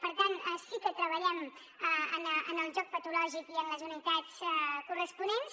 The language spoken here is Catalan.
per tant sí que treballem en el joc patològic i en les unitats corresponents